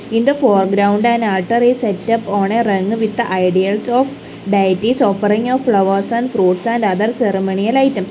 in the foreground an altar is setup on a with a ideals of dieties offering a flowers and fruits and other ceremonial items.